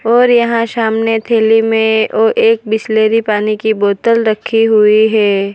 और यहां सामने थैली में ओ एक बिसलेरी पानी की बोतल रखी हुई है।